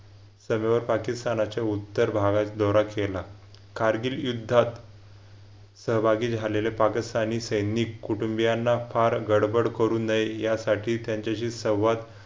सभेवर पाकिस्तानच्या उत्तर भागात दौरा केला. कारगिल युद्धात सहभागी झालेले पाकिस्तानी सैनिक कुटुंबीयांना फार गडबड करू नये यासाठी त्यांच्याशी संवाद